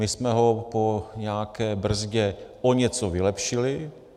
My jsme ho po nějaké brzdě o něco vylepšili.